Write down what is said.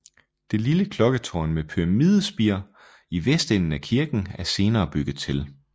Det lille klokketårn med pyramidespir i vestenden af kirken er senere bygget til